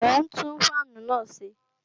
Mò ń tún fáànù náà ṣe